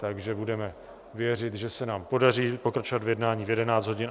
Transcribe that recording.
Takže budeme věřit, že se nám podaří pokračovat v jednání v 11 hodin.